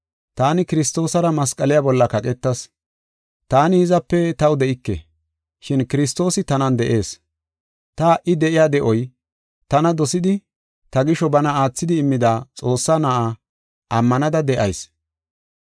Taani Kiristoosara masqaliya bolla kaqetas. Taani hizape taw de7ike, shin Kiristoosi tanan de7ees. Ta ha77i de7iya de7oy, tana dosidi ta gisho bana aathidi immida Xoossaa Na7aa ammanada de7ayis.